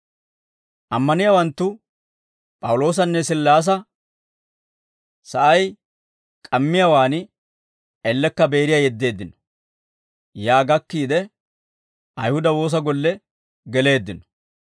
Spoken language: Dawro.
Ammaniyaawanttu P'awuloosanne Sillaasa sa'ay k'ammiyaawaan ellekka Beeriyaa yeddeeddino. Yaa gakkiide, Ayihuda woosa golle geleeddino.